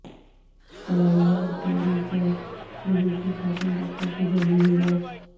fly اوورکے نیچے ملی تھی خاتون ڈاکٹر کی جلی ہوئی لاش